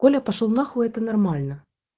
коля пошёл нахуй это нормально